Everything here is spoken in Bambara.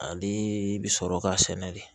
Ale bi sɔrɔ ka sɛnɛ de